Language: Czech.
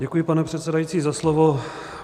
Děkuji, pane předsedající, za slovo.